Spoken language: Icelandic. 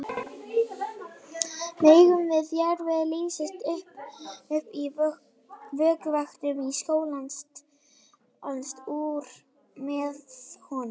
Mengun í jarðvegi leysist upp í vökvanum og skolast úr með honum.